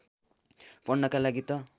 पढ्नका लागि त